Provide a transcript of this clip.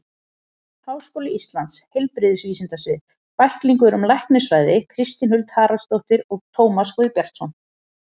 Háskóli Íslands: Heilbrigðisvísindasvið- Bæklingur um læknisfræði Kristín Huld Haraldsdóttir og Tómas Guðbjartsson.